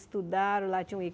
Estudaram lá. Tinha um